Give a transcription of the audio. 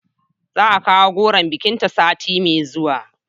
Za a kawo goron bikinta sati mai zuwa